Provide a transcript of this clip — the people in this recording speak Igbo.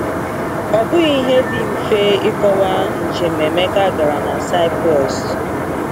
Ọ bụghị ihe dị mfe ịkọwa njem Emeka gara na Cyprus.